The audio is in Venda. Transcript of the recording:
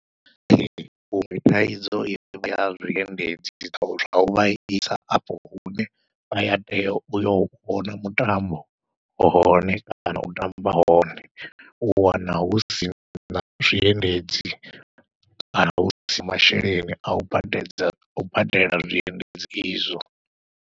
Ee huṅwe thaidzo ivha ya zwiendedzi zwo uvha isa afho hune vha ya tea uyo vhona mutambo hone, kana u amba hone. U wana husina zwiendedzi kana husina masheleni au badedza au badela zwiendedzi izwo.